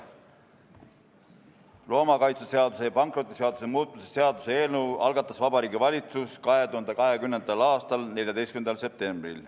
Loomakaitseseaduse ja pankrotiseaduse muutmise seaduse eelnõu algatas Vabariigi Valitsus 2020. aasta 14. septembril.